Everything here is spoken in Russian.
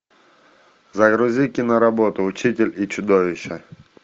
загрузи киноработу учитель и чудовище